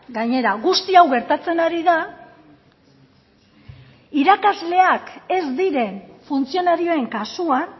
gainera guzti hau gertatzen ari da irakasleak ez diren funtzionarioen kasuan